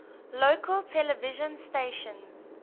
local television stations